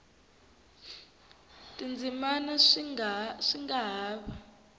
tindzimana swi nga ha va